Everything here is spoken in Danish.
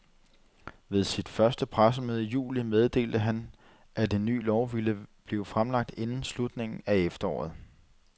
Ved sit første pressemøde i juli, meddelte han, at en ny lov ville blive fremlagt inden slutningen af efteråret.